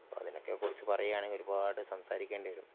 അതിനെക്കെക്കുറിച്ചു പറയുവാണെങ്കിൽ ഒരുപാട് സംസാരിക്കേണ്ടി വരും